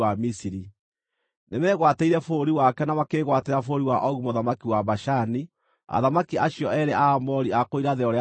Nĩmegwatĩire bũrũri wake na makĩĩgwatĩra bũrũri wa Ogu mũthamaki wa Bashani, athamaki acio eerĩ a Aamori a kũu irathĩro rĩa Rũũĩ rwa Jorodani.